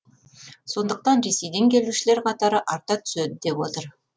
сондықтан ресейден келушілер қатары арта түседі деп отыр